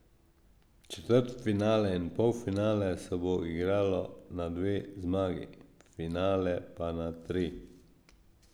Četrtfinale in polfinale se bo igralo na dve zmagi, finale pa na tri.